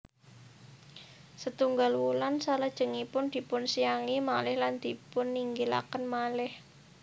Setunggal wulan salajengipun dipunsiangi malih lan dipuninggilaken malih